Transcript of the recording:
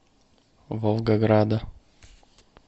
волгограда